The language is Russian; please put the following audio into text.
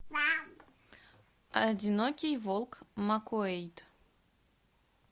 одинокий волк маккуэйд